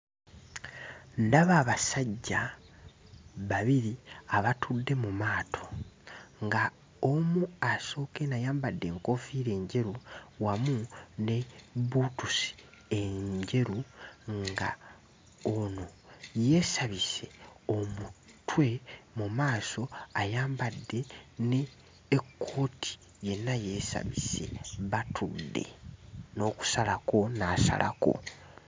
Ndaba abasajja babiri abatudde mu maato nga omu asooka eno ayambadde enkoofiira enjeru wamu ne bbuutusi enjeru nga ono yeesabise omutwe mu maaso ayambadde ne ekkooti yenna yeesabise batudde n'okusalako n'asalako.